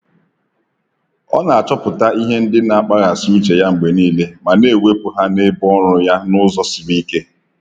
Ọ na-achọpụta ihe ndị na-akpaghasị uche ya mgbe niile ma na-ewepụ ha n'ebe ọrụ ya n'ụzọ siri ike.